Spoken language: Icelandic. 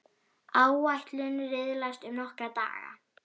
Áætlun riðlast um nokkra daga.